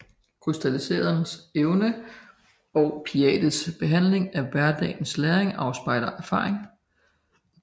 Krystalliseret evne og Piagets behandling af hverdagens læring afspejler erfaring